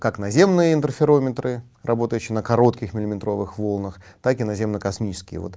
как наземные интерферометры работающие на коротких миллиметровых волнах так и наземно-космические вот